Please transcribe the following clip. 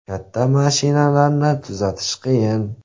Katta mashinalarni tuzatish qiyin.